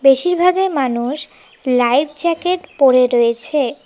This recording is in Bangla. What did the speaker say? বেশিরভাগই মানুষ লাইফ জ্যাকেট পড়ে রয়েছে।